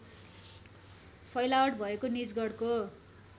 फैलावट भएको निजगढको